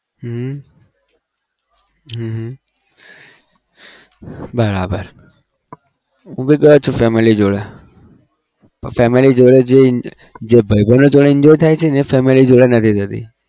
હમ હમ હમ બરાબર હું તો ગયો છું family જોડે પણ family જોડે જે ઈન જે ભાઈબંધ જોડે enjoy થાય છે એ family જોડે નથી થતી.